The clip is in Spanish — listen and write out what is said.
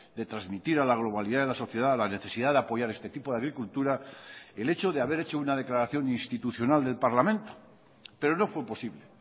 de transmitir a la globalidad de la sociedad la necesidad de apoyar este tipo de agricultura el hecho de haber hecho una declaración institucional del parlamento pero no fue posible